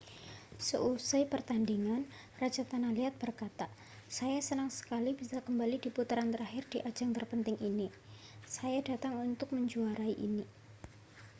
seusai pertandingan raja tanah liat berkata saya senang sekali bisa kembali di putaran terakhir di ajang terpenting ini saya datang untuk menjuarai ini